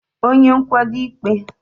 onye nkwado ịkpe